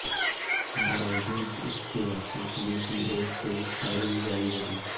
बावजूद इसके आतंकियों की ओर से फायरिंग जारी रही